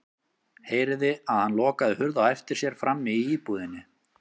Heyrði að hann lokaði hurð á eftir sér frammi í íbúðinni.